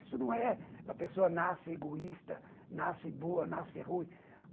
Isso não é a pessoa nasce egoísta, nasce boa, nasce ruim.